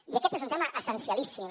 i aquest és un tema essencialíssim